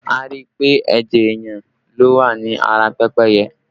A rí i pé ẹ̀jẹ̀ èèyàn ló wà ní ara pẹ́pẹ́yẹ